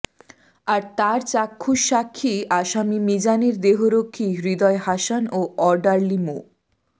আর তার চাক্ষুষ সাক্ষী আসামি মিজানের দেহরক্ষী হৃদয় হাসান ও অর্ডারলি মো